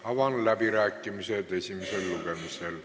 Avan läbirääkimised.